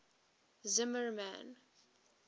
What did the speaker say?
zimmermann